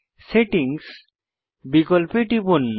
settings বিকল্পে টিপুন